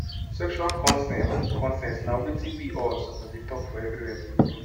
sexual consent consent na watin we all suppose dey talk for everywhere true true